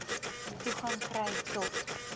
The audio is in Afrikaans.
toegang kry tot